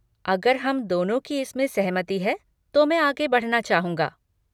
अगर हम दोनों की इस में सहमति है तो मैं आगे बढ़ना चाहूँगा।